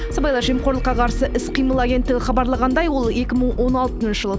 сыбайлас жемқорлыққа қарсы іс қимыл агенттігі хабарлағандай ол екі мың он алтыншы жыл